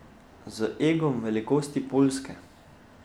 Z egom velikosti Poljske.